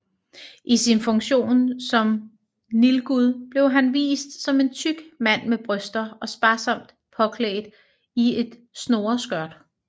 I sin funktion som nilgud blev han vist som en tyk mand med bryster og sparsomt påklædt i et snoreskørt